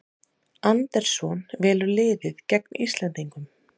Andersson velur liðið gegn Íslendingum